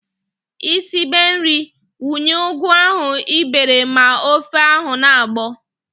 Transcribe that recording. Ị sibe nri, wunye ugu ahụ ị bere ma ofe ahụ na-agbọ!